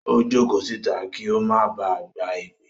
Ó jókòó síta kí ó máa ba à gba èpè.